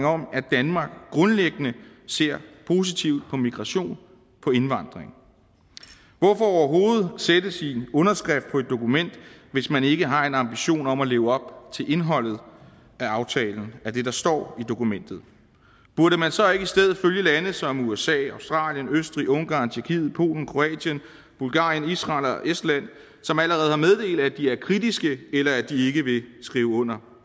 om at danmark grundlæggende ser positivt på migration på indvandring hvorfor overhovedet sætte sin underskrift på et dokument hvis man ikke har en ambition om at leve op til indholdet af aftalen af det der står i dokumentet burde man så ikke i stedet følge lande som usa australien østrig ungarn tjekkiet polen kroatien bulgarien israel og estland som allerede har meddelt at de er kritiske eller at de ikke vil skrive under